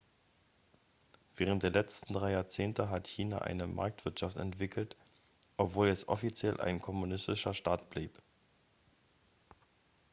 während der letzten drei jahrzehnte hat china eine marktwirtschaft entwickelt obwohl es offiziell ein kommunistischer staat blieb